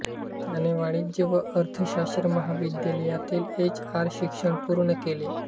त्याने वाणिज्य व अर्थशास्त्र महाविद्यालयातील एच आर शिक्षण पूर्ण केले